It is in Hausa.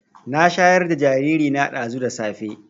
Na shayar da jariri na ɗazu da safe